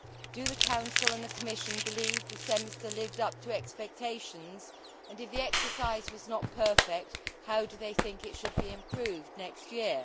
Do the Council and the Commission believe the Semester lived up to expectations, and if the exercise was not perfect, how do they think it should be improved next year?